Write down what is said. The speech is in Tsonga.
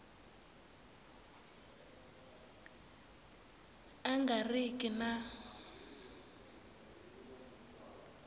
a nga ri ki na